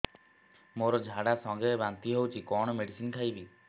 ମୋର ଝାଡା ସଂଗେ ବାନ୍ତି ହଉଚି କଣ ମେଡିସିନ ଖାଇବି